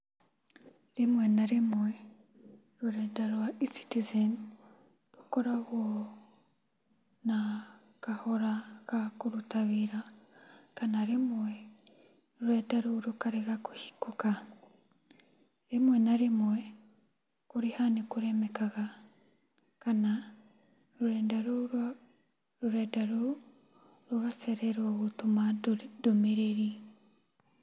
Rĩmwe na rĩmwe, rũrenda rwa E-Citizen, rũkoragwo na kahora gakũruta wĩra kana rĩmwe rũrenda rũrũ rũkarega kũhingũka. Rĩmwe na rĩmwe, kũrĩha nĩkũremekaga kana rũrenda rũrũ rwa, rũrenda rũu rũgacererwo gũtũma ndũmĩrĩri.